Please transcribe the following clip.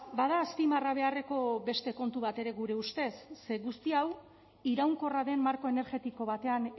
bada azpimarra beharreko beste kontu bat ere gure ustez ze guzti hau iraunkorra den marko energetiko batean